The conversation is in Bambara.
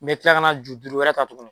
N bɛ tila ka na ju duuru wɛrɛ ka tuguni